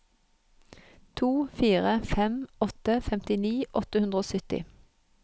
to fire fem åtte femtini åtte hundre og sytti